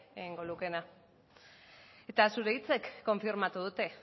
egingo lukeena eta zure hitzek konfirmatu dute